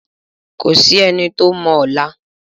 Kò sí ẹni tó mọ ọ̀la.